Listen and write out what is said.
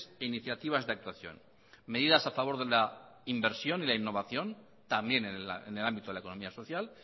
e iniciativas de actuación medidas a favor de la inversión y la innovación también en el ámbito de la economía social